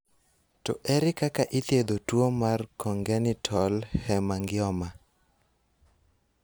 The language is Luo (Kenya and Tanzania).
To ere kaka ithietho tuo mar congenital hemangioma?